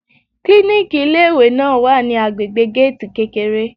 Klíníkì ilé ìwé náà wà ní agbègbè géètì kékeré.